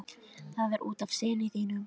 Það er út af syni þínum.